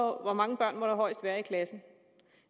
hvor mange børn der højst må være klassen